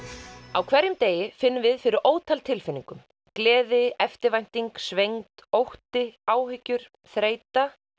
á hverjum degi finnum við fyrir ótal tilfinningum gleði eftirvænting svengd ótti áhyggjur þreyta